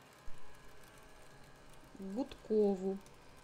гудкову